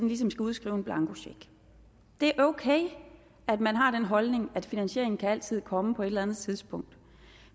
ligesom skal udskrive en blankocheck det er okay at man har den holdning at finansieringen altid kan komme på et eller andet tidspunkt